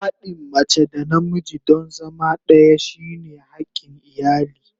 Haɗin mace da namiji don zama ɗaya shine hakin iyali.